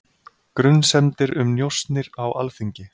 Grunsemdir um njósnir á Alþingi